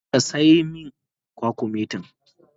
Shin ka sayi min kwakumetin?